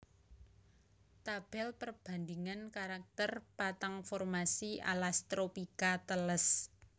Tabel perbandingan karakter patang formasi alas tropika teles